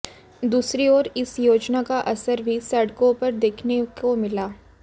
दूसरी ओर इस योजना का असर भी सड़कों पर देखने को मिला